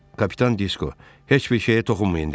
Kapitan Disko: "Heç bir şeyə toxunmayın!" dedi.